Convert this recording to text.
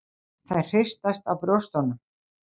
Þær hristast á brjóstunum.